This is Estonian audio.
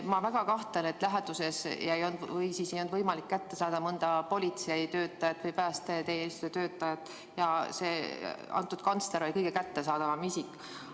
Ma väga kahtlen selles, et ei olnud võimalik kätte saada mõnda politsei või päästeteenistuse töötajat ja et kantsler oli kõige kättesaadavam isik.